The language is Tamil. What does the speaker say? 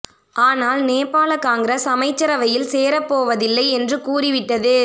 ஆனால் நேபாள காங்கிரஸ் அமைச்சரவையில் சேரப் போவதில்லை என்று கூறி விட்டது